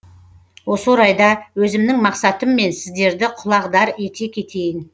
осы орайда өзімнің мақсатыммен сіздерді құлағдар ете кетейін